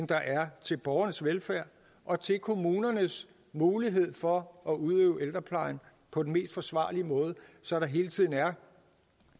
der er til borgernes velfærd og til kommunernes mulighed for at udøve ældreplejen på den mest forsvarlige måde så der hele tiden er